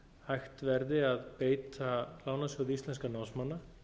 hægt verði að beita lánasjóði íslenskra námsmanna